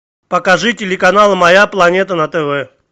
покажи телеканал моя планета на тв